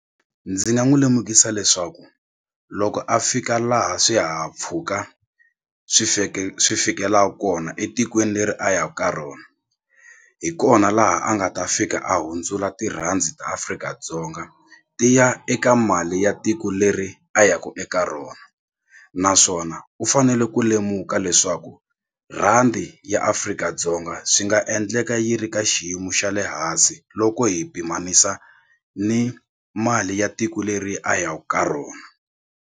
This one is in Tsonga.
Ndzi nga n'wi lemukisa leswaku loko a fika laha swihahampfhuka swi swi fikelaku kona etikweni leri a yaku ka rona hi kona laha a nga ta fika a hundzula tirhandi ta Afrika-Dzonga ti ya eka mali ya tiko leri a ya ku eka rona naswona u fanele ku lemuka leswaku rhandi ya Afrika-Dzonga swi nga endleka yi ri ka xiyimo xa le hansi loko hi pimanisa ni mali ya tiko leri a yaku ka rona.